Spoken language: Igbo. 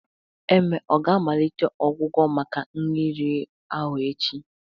Eme ọ ga-amalite ọgwụgwọ maka nri riri ahụ echi?